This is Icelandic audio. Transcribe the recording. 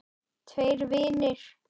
Tveir vinir